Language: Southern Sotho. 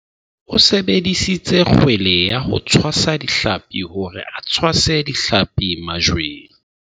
o sebedisitse kgwele ya ho tshwasa ditlhapi hore a tshwase ditlhapi majweng